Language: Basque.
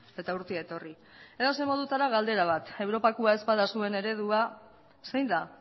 eta urtea etorri edozein modutara galdera bat europakoa ez bada zuen eredua zein da